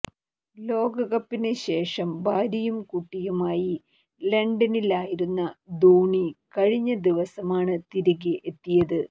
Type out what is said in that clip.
ലോകകപ്പിന് ശേഷം ഭാര്യയും കുട്ടിയുമായി ലണ്ടനിലായിരുന്ന ധോണി കഴിഞ്ഞ ദിവസമാണ് തിരികെ എത്തിയത്